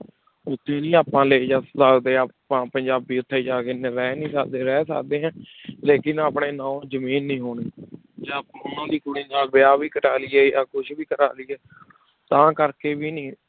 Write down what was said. ਉੱਥੇ ਨੀ ਆਪਾਂ ਲੈ ਸਕਦਾ ਆਪਾਂ ਪੰਜਾਬੀ ਉੱਥੇ ਜਾ ਕੇ ਰਹਿ ਨੀ ਸਕਦੇ ਰਹਿ ਸਕਦੇ ਹੈ ਲੇਕਿੰਨ ਆਪਣੇ ਨਾਂ ਜ਼ਮੀਨ ਨੀ ਹੋਣੀ ਜਾਂ ਉਹਨਾਂ ਦੀ ਕੁੜੀ ਨਾਲ ਵਿਆਹ ਵੀ ਕਰਵਾ ਲਈਏ ਜਾਂ ਕੁਛ ਵੀ ਕਰਵਾ ਲਈਏ ਤਾਂ ਕਰਕੇ ਵੀ ਨੀ